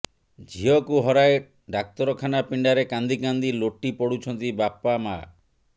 ଝିଅକୁ ହରାଇ ଡାକ୍ତରଖାନା ପିଣ୍ଡାରେ କାନ୍ଦିକାନ୍ଦି ଲୋଟି ପଡୁଛନ୍ତି ବାପା ମା